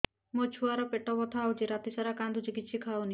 ମୋ ଛୁଆ ର ପେଟ ବଥା ହଉଚି ରାତିସାରା କାନ୍ଦୁଚି କିଛି ଖାଉନି